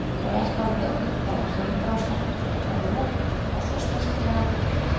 Og er það vel þegar hringrás náttúrunnar er lokað á svo snyrtilegan hátt.